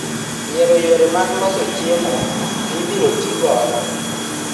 Yiero yore mag loso chiemo mibiro ti godo